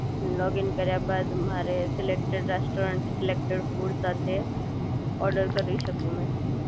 login કર્યા બાદ મારે સિલેક્ટ રેસ્ટોરન્ટ સિલેક્ટેડ ફૂડ સાથે ઓર્ડર કરી શકું મેં